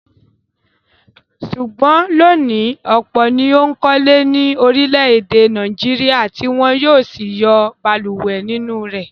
Ṣùgbọ́n lónìí, ọ̀pọ̀ ni ó ń kọ́lé ní orílẹ̀-èdè Nàìjíríà tí wọ ń yóò sì yọ balùwẹ̀ nínú rẹ̀.